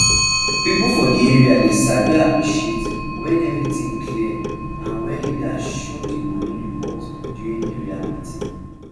people for di area dey sabi appreciate when everything clear and wen leaders show dey money report during area meeting